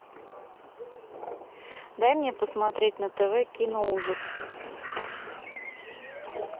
дай мне посмотреть на тв киноужас